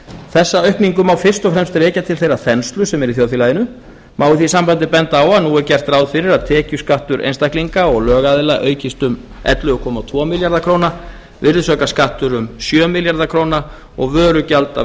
þessa aukningu má fyrst og fremst rekja til þeirrar þenslu sem er í þjóðfélaginu má í því sambandi benda á að nú er gert ráð fyrir að tekjuskattur einstaklinga og lögaðila aukist um ellefu komma tvo milljarða króna virðisaukaskattur um sjö komma núll milljarða króna og vörugjöld af